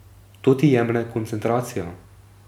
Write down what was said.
To ti jemlje koncentracijo.